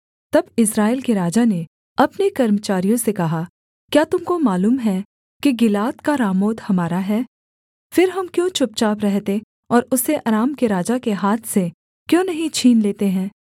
तब इस्राएल के राजा ने अपने कर्मचारियों से कहा क्या तुम को मालूम है कि गिलाद का रामोत हमारा है फिर हम क्यों चुपचाप रहते और उसे अराम के राजा के हाथ से क्यों नहीं छीन लेते हैं